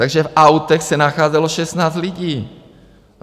Takže v autech se nacházelo 16 lidí.